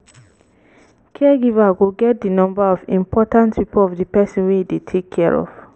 caregiver go get di number of important people of di person wey im dey take care of